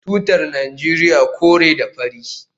Tutar Najeriya kore da fari